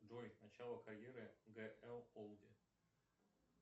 джой начало карьеры г л олди